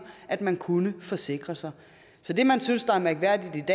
at man kunne forsikre sig så det man synes er mærkværdigt